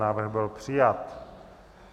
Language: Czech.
Návrh byl přijat.